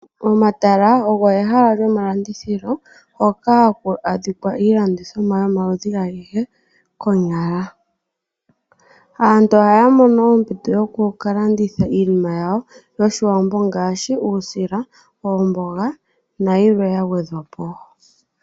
Omatala ogo ehala lyomalandithilo hoka haku adhika iilandithomwa yomaludhi agehe konyala. Aantu ohaa mono ompito yoku kalanditha iinima yawo yoshiwambo ngaashi omboga uusila nayilwe yagwedhwapo.